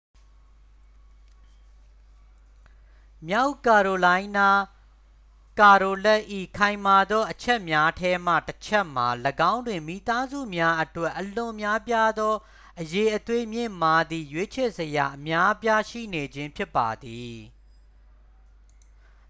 မြောက်ကာရိုလိုင်းနား ကာရိုလက်တ် ၏ ခိုင်မာသောအချက်များထဲမှတစ်ချက်မှာ ၎င်းတွင် မိသားစုများအတွက် အလွန်များပြားသော အရည်အသွေးမြင့်မားသည့် ရွေးချယ်စရာအများအပြားရှိနေခြင်း ဖြစ်ပါသည်